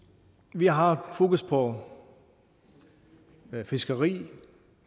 vi har fokus på fiskeri